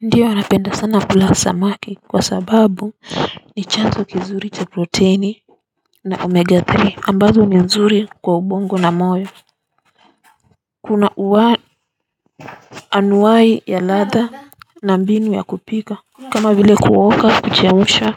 Ndio, wanapenda sana kula samaki kwa sababu ni chanzo kizuri cha protini na 'Omega three' ambazo ni nzuri kwa ubongo na moyo. Kuna anuai ya ladha na mbinu ya kupika kama vile kutoka, kuchemsha,